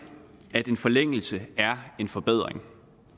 at en forlængelse af en forbedring